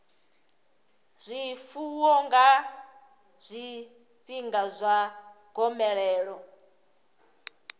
zwifuwo nga zwifhinga zwa gomelelo